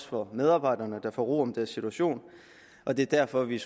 for medarbejderne der får ro om deres situation og det er derfor vi